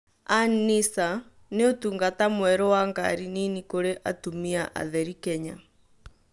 An-nisaa: Nĩ ũtungata mwerũ wa ngari nini kurĩ atumia atheri Kenya